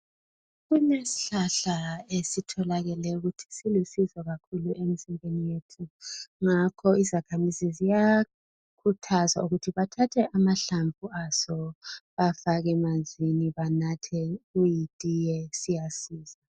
Kulesihlahla esitholakele ukuthi silusizo kakhulu emzimbeni yethu ngakho izakhamizi ziyakhuthazwa ukuthi bathathe amahlamvu aso bafake emanzini banathe kuyitiye siyasiza.